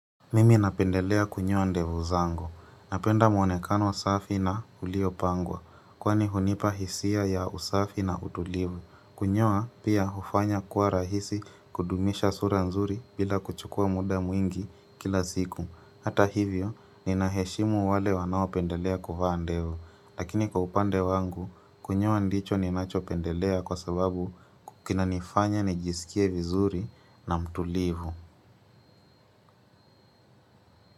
Mimi napendelea kunyoa ndevu zangu. Napenda mwonekano safi na uliopangwa. Kwani hunipa hisia ya usafi na utulivu. Kunyoa pia hufanya kuwa rahisi kudumisha sura nzuri bila kuchukua muda mwingi kila ziku. Hata hivyo, ninaheshimu wale wanaopendelea kuvaa ndevu. Lakini kwa upande wangu, kunyoa ndicho ninachopendelea kwa sababu kinanifanya nijisikie vizuri na mtulivu.